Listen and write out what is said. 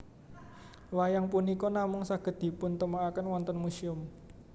Wayang punika namung saged dipuntemokaken wonten muséum